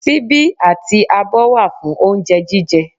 Síbí àti abọ́ wà fún oúnjẹ jíjẹ